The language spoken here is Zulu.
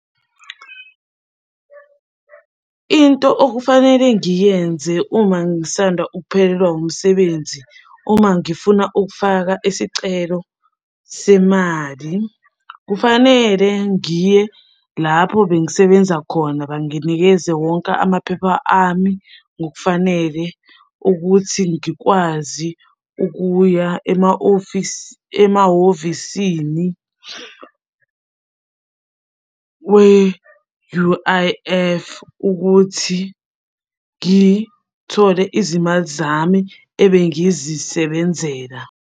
Into okufanele ngiyenze uma ngisanda ukuphelelwa umsebenzi uma ngifuna ukufaka isicelo semali, kufanele ngiye lapho bengisebenza khona banginikeze wonke amaphepha ami ngokufanele ukuthi ngikwazi ukuya ema-office, emahhovisini we-U_I_F ukuthi ngithole izimali zami ebengizisebenzela.